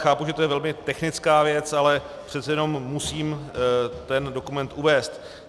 Chápu, že je to velmi technická věc, ale přece jenom musím ten dokument uvést.